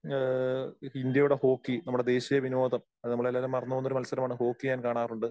ആ ഇന്ത്യയുടെ ഹോക്കി നമമുടെ ദേശീയ വിനോദം. അത് നമ്മള് എല്ലാവരും മറന്നുപോകുന്ന ഒരു മത്സരമാണ് ഹോക്കി ഞാൻ കാണാറുണ്ട്.